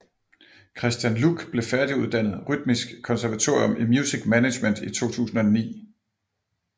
Kristian Luc blev færdiguddannet Rytmisk Musikkonservatorium i Music Management i 2009